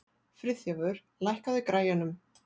Friðþjófur, lækkaðu í græjunum.